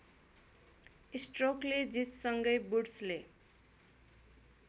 स्ट्रोकले जितसँगै वुड्सले